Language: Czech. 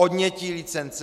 Odnětí licence.